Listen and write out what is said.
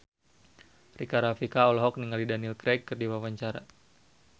Rika Rafika olohok ningali Daniel Craig keur diwawancara